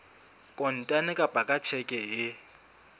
kontane kapa ka tjheke e